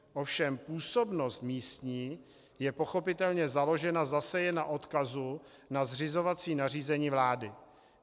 Ovšem působnost místní je pochopitelně založena zase jen na odkazu na zřizovací nařízení vlády.